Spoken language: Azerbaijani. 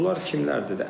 Bunlar kimlərdir?